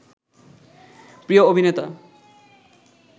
প্রিয় অভিনেতা